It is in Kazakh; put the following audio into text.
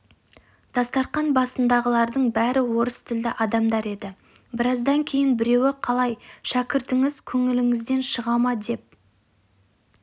дастарқан басындағылардың бәрі орыс тілді адамдар еді біраздан кейін біреуі қалай шәкіртіңіз көңіліңізден шыға ма деп